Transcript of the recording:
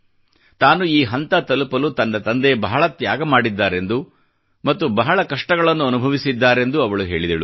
ತಾನು ಈ ಹಂತ ತಲುಪಲು ತನ್ನ ತಂದೆ ಬಹಳ ತ್ಯಾಗ ಮಾಡಿದ್ದಾರೆಂದು ಮತ್ತು ಬಹಳ ಕಷ್ಟಗಳನ್ನು ಅನುಭವಿಸಿದ್ದಾರೆಂದು ಅವಳು ಹೇಳಿದಳು